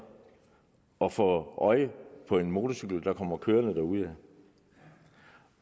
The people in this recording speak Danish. at få øje på en motorcykel der kommer kørende derudad